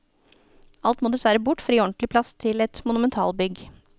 Alt må dessverre bort for å gi ordentlig plass til et monumentalbygg.